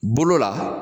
Bolo la